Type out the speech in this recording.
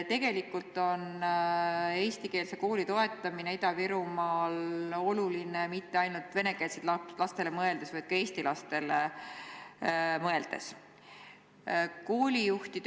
Tegelikult pole eestikeelse kooli toetamine Ida-Virumaal oluline mitte ainult venekeelsetele lastele mõeldes, vaid ka eesti lastele mõeldes.